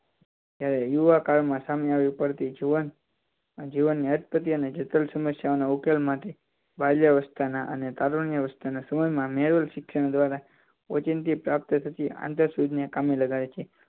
ત્યારે યુવાકાળમાં સામે ઉપડતી જુવાનો જુવાનો અટપટી અને જટીલ સમસ્યાના ઉકેલ માટે બાલ્યાવસ્થામાં અને અવસ્થાના સમય માં મેલ શિક્ષણ ઓચિંતી પ્રાપ્ત થતી આંતરસૂદ ને કામે લગાડે છે